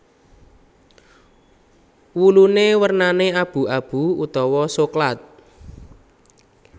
Wulune wernane abu abu utawa soklat